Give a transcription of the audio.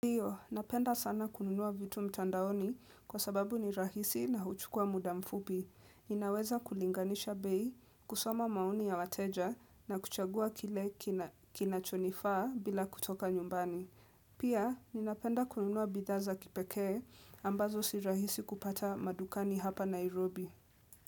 Hiyo, napenda sana kununua vitu mtandaoni kwa sababu ni rahisi na huchukua muda mfupi. Ninaweza kulinganisha bei, kusoma maoni ya wateja na kuchagua kile kinachonifaa bila kutoka nyumbani. Pia, ninapenda kununua bidhaa za kipekee ambazo si rahisi kupata madukani hapa Nairobi.